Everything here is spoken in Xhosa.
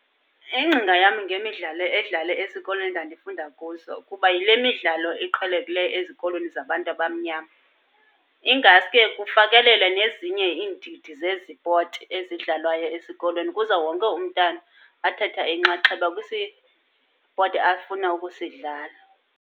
Ingcinga yam ngemidlalo edlale esikolweni endandifunda kuso kuba, yile midlalo eqhelekileyo ezikolweni zabantu abamnyama. Ingaske kufakelele nezinye iindidi zezipoti ezidlalwayo esikolweni, kuze wonke umntana athathe inxaxheba kwisipoti afuna ukusidlala.